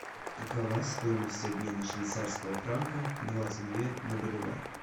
какова стоимость обмена швейцарского франка двадцать две на боливар